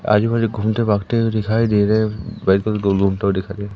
आजू बाजू घूमते भागते हुए दिखाई दे रहे दो लोग ट दिखाई दे--